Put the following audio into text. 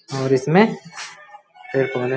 और इसमें एक --